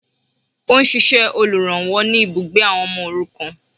Ó n ṣíṣẹ olùrànwọ́ ni ibùgbé àwọn ọmọ òrukàn